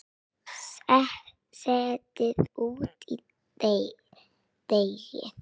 Setjið út í deigið.